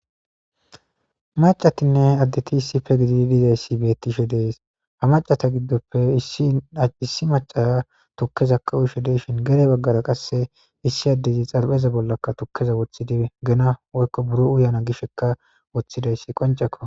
Macatinne addeti issife gidi dizayssi bettisho dees ha macata giddoppe iiissi macaya tukkezakka uysho deeshin gere baggara qasse issi addezi xarpheza bollakka tukkeza woththi dibe gena woykko buro uyana gishekka woththidayssi qoncekko